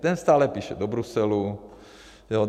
Ten stále píše do Bruselu.